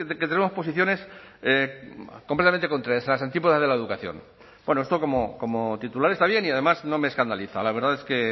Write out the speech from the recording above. que tenemos posiciones completamente contrarias en las antípodas de la educación esto como titular está bien y además no me escandaliza la verdad es que